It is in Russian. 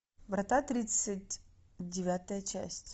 врата тридцать девятая часть